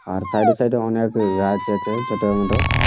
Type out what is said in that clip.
আর side এ side এ অনেক গাছ আছে ছোট মোট।